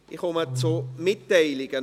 Ich komme noch zu Mitteilungen.